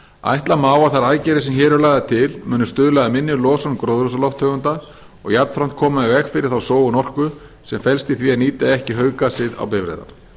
ætla má að þær aðgerðir sem hér eru lagðar til muni stuðla að minni losun gróðurhúsalofttegunda og jafnframt koma í veg fyrir þá sóun orku sem felst í því að nýta ekki hauggasið á bifreiðar